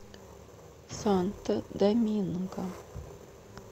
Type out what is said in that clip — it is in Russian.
санто доминго